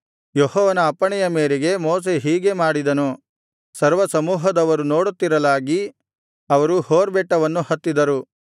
ಯೆಹೋವನ ಅಪ್ಪಣೆಯ ಮೇರೆಗೆ ಮೋಶೆ ಹೀಗೆ ಮಾಡಿದನು ಸರ್ವಸಮೂಹದವರು ನೋಡುತ್ತಿರಲಾಗಿ ಅವರು ಹೋರ್ ಬೆಟ್ಟವನ್ನು ಹತ್ತಿದರು